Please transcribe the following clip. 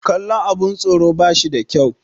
kallon abin tsoro ba shi da kyau